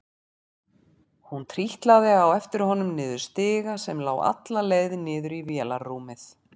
Hún trítlaði á eftir honum niður stiga sem lá alla leið niður í vélarrúmið.